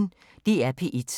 DR P1